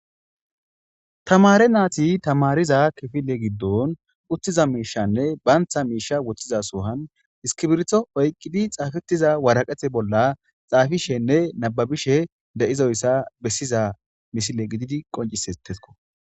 tamare naati tamariza kifile giddon uttiza miishanne baantha miisha woththiza suhan iskibirto oyqqidi xaafetiza waraqete bolla xaafishenne nababishe de7izoyssa bessiza misile gididi qoncisettesko